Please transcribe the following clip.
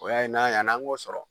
O y'a ye n'a yann'an k'o sɔrɔ.